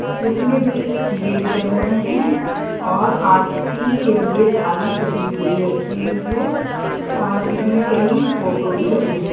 इसमें दिए जल रहे हैं और आरती के लिए थाली सजी हुई रखी हुई हैं और इसमें कई फोटो भी लगे हुए --